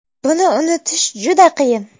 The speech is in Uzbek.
Buni unutish juda qiyin.